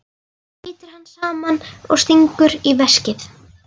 Brýtur hann saman og stingur í veskið.